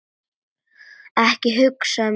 Ekki hugsa um mat!